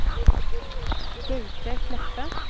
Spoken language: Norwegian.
Gaute Kleppe